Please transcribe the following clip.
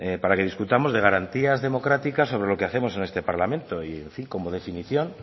para que discutamos de garantías democráticas sobre lo que hacemos en este parlamento y en fin como definición